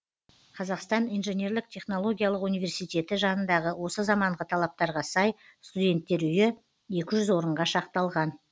қазақстан инженерлік технологиялық университеті жанындағы осы заманғы талаптарға сай студенттер үйі екі жүз орынға шақталған